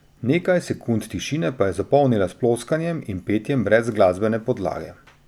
Nekaj sekund tišine pa je zapolnila s ploskanjem in petjem brez glasbene podlage.